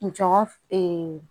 N jɔn f